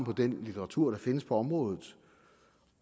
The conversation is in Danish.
på den litteratur der findes på området